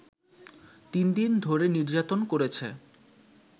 তিন দিন ধরে নির্যাতন করেছে